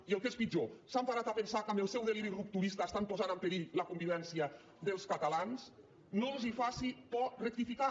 i el que és pitjor s’han parat a pensar que amb el seu deliri rupturista estan posant en perill la convivència dels catalans no els faci por rectificar